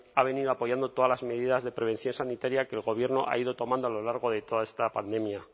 ha venido apoyando todas las medidas de prevención sanitaria que el gobierno ha ido tomando a lo largo de toda esta pandemia